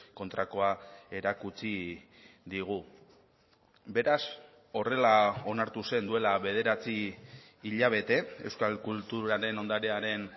kontrakoa erakutsi digu beraz horrela onartu zen duela bederatzi hilabete euskal kulturaren ondarearen